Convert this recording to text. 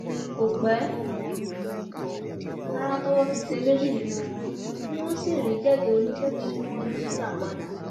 kò pẹ rárá towó fi tẹ méjì nínú wọn tí wọn sì rí kẹkẹ oníkẹkẹ tí wọn jí gbà padà